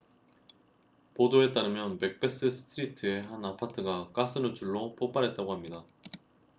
보도에 따르면 맥베스 스트리트의 한 아파트가 가스 누출로 폭발했다고 합니다